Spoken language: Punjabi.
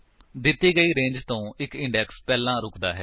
ਦਿੱਤੀ ਗਈ ਰੇਂਜ ਤੋ ਇੱਕ ਇੰਡੇਕਸ ਪਹਿਲਾਂ ਰੁਕਦਾ ਹੈ